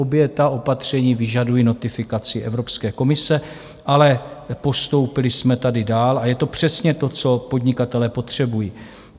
Obě opatření vyžadují notifikaci Evropské komise, ale postoupili jsme tady dál a je to přesně to, co podnikatelé potřebují.